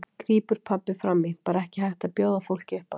grípur pabbi fram í, bara ekki hægt að bjóða fólki upp á það.